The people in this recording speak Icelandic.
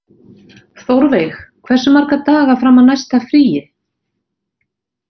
Þórveig, hversu marga daga fram að næsta fríi?